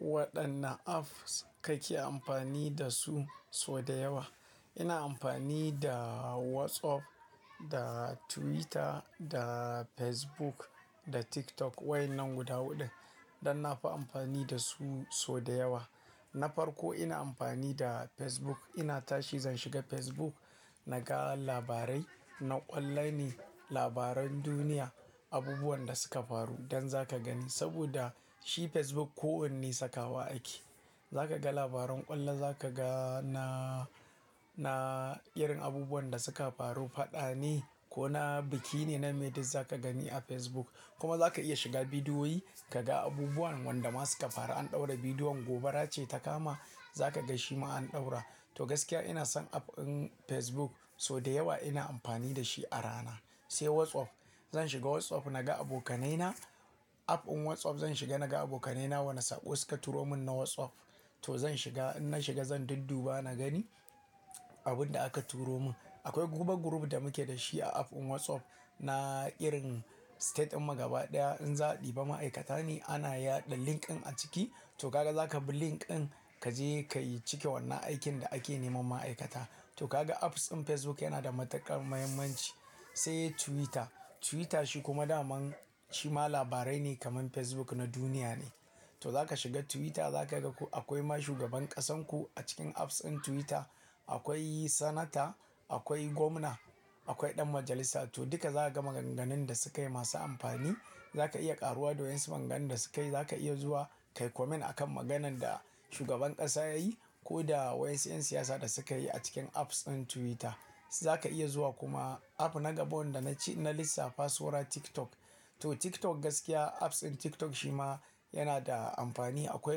Waɗanne apps kake amfani da su sau da yawa? Ina amfani da WhatsApp da Twitter, da Facebook, da TikTok waɗannan guda huɗu. Dan na fi amfani da su sau da yawa. Na farko ina amfani da Facebook. Ina tashi zan shiga Facebook na ga labarai, na ƙallani labaran duniya, abubuwan da suka faru dan za ka gani saboda shi Facebook ko wanne sakawa ake. Za ka ga labaran ƙalla, za ka ga na, na irin abubuwan da suka faru faɗa ne ko na biki ne, nameye duk za ka gani a Facebook. Kuma za ka iya shiga bidiyoyi ka ga abubuwan wanda ma suka faru an ɗaura bidiyon gobara ce ta kama za ka ga shi ma an ɗaura. To gaskiya ina son app ɗin Facebook sau da yawa ina amfani da shi a rana. Sai WhatsApp. Zan shiga WhatsApp na ga abokanaina app ɗin WhatsApp zan shiga na ga abokanaina wane sako suka turo mun na WhatsApp. To zan shiga, in na shiga zan dudduba na gani abin da aka turo mun. Akwai guba group da muke da shi a app ɗin WhatsApp na irin state ɗin magaba ɗaya in za a ɗiba ma'aikata ne ana yaɗa link ɗin a ciki. To kaga za ka bi link ɗin ka je ka yi cike wannan aikin da ake neman ma'aikata. To kaga apps ɗin Facebook yana da matuƙar muhimmanci. Sai Twitter. Twitter shi kuma da man shi ma labarai ne kamar Facebook na duniya ne. To za ka shiga Twitter za ka ga ko akwai ma shugaban ƙasarku a cikin apps ɗin Twitter. Akwai sanata, akwai gwamna, akwai ɗan majalisa. To duka za ka ga maganganun da sukayi masu amfani. Za ka iya ƙaruwa da wasu maganganun da sukayi. Za ka iya zuwa ka yi comment akan maganan da shugaban ƙasa yayi ko da wasu 'yan siyasa da sukayi a cikin apps ɗin Twitter. Za ka iya zuwa kuma app na gaba wanda na ci, na lissafa saura TikTok. To TikTok gaskiya apps ɗin TikTok shi ma yana da amfani. Akwai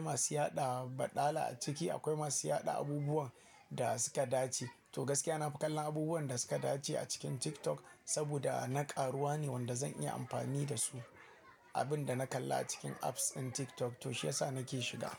masu yaɗa baɗala a ciki, akwai masu yaɗa abubuwan da suka dace. To gaskiya na fi kallon abubuwan da suka dace a cikin TikTok saboda na ƙaruwa ne wanda zan iya amfani da su. Abin da na kalla a cikin apps ɗin TikTok to shi yasa nake shiga.